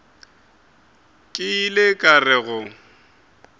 ke ile ka re go